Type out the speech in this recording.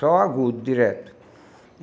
Só o agudo, direto.